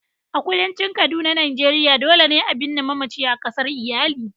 A kudancin kaduna Nigeria, dole ne a binne mamacin a kasar iyali.